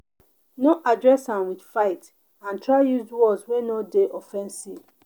no address am with fight and try use words wey no de offensive